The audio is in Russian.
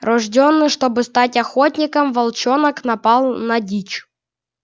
рождённый чтобы стать охотником волчонок напал на дичь